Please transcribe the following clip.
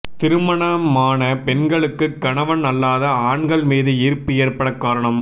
திருமணமான பெண்களுக்குக் கணவன் அல்லாத ஆண்கள் மீது ஈர்ப்பு ஏற்படக் காரணம்